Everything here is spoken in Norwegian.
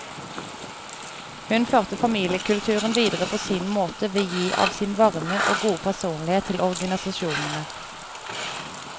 Hun førte familiekulturen videre på sin måte ved å gi av sin varme og gode personlighet til organisasjonene.